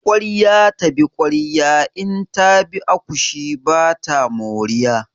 Ƙwarya ta bi ƙwarya in ta bi akushi ba ta moriya.